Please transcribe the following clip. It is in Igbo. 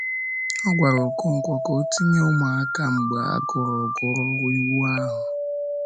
O gwara Okonkwo ka o tinye “ụmụaka” mgbe a gụrụ gụrụ Iwu ahụ.